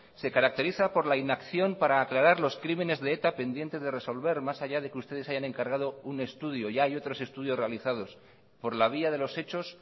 se caracteriza por la inacción para aclarar los crímenes de eta pendientes de resolver más allá de que ustedes hayan encargado un estudio ya hay otros estudios realizados por la vía de los hechos